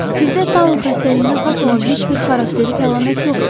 Sizdə taun xəstəliyinə xas olan heç bir xarakterik əlamət yoxdur.